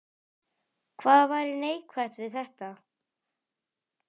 Hvað væri neikvætt við þetta?